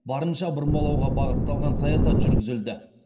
барынша бұрмалауға бағытталған саясат жүргізілді